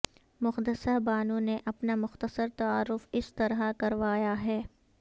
مقدسہ بانو نے اپنا مختصر تعارف اس طرح کروایا ہے